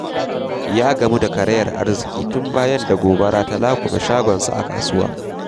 Ya gamu da karayar arziki tun bayan da gobara ta laƙume shagonsa a kasuwa.